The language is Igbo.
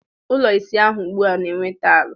Ụlọ ịsa ahụ ugbua na-enwe taịlị.